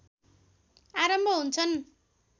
आरम्भ हुन्छन्